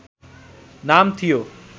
नाम थियो